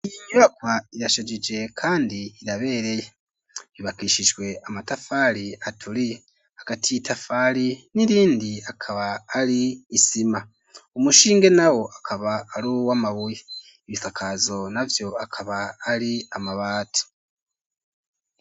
Inyubaka irashajije kandi irabereye ibakishiswe amatafari aturiye akatitafali ni rindi akaba ali isima omushinge nawo akaba aluwa mabuyi ebisakaazo navyo akaba ali amabatu.